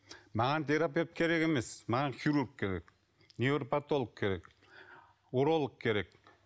маған терапевт керек емес маған хирург керек невропатолог керек уролог керек